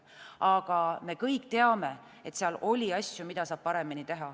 Aga me kõik teame, et oli asju, mida oleks saanud paremini teha.